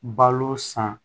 Balo san